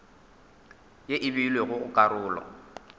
ye e beilwego go karolo